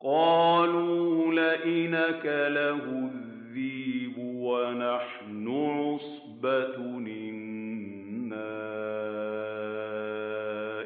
قَالُوا لَئِنْ أَكَلَهُ الذِّئْبُ وَنَحْنُ عُصْبَةٌ إِنَّا